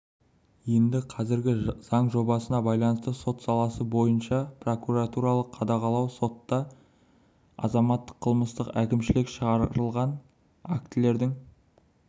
енді қазіргі заң жобасына байланысты сот саласы бойынша прокурорлық қадағалау сотта азаматтық қылмыстық әкімшілік шығарылған актілердің